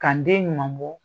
Ka n den ɲuman bɔ